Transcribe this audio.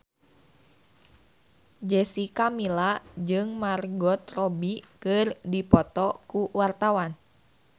Jessica Milla jeung Margot Robbie keur dipoto ku wartawan